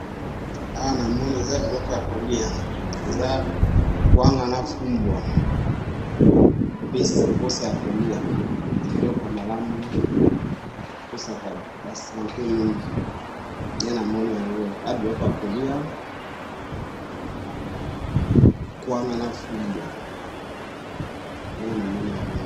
Awa namoni eza biloko ya kolia eza kwanga na fumbwa epesi posa ya kolia biloko ya malamu epesaka ba sante mingi nde namoni yango eza biloko ya kolia kwanga na fumbwa nde namoni yango